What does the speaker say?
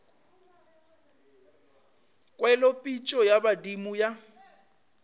kwele pitšo ya badimo ya